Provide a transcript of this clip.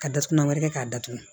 Ka datugulan wɛrɛ kɛ k'a datugu